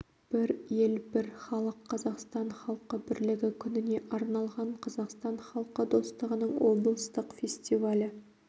бір ел - бір халық қазақстан халқы бірлігі күніне арналған қазақстан халқы достығының облыстық фестивалі